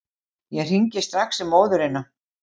Ég hringi strax í móðurina.